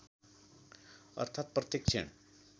अर्थात् प्रत्येक क्षण